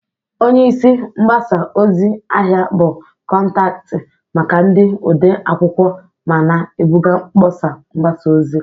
Onye isi mgbasa ozi/ahịa bụ kọntaktị maka ndị ode akwụkwọ ma na-ebuga mkpọsa mgbasa ozi.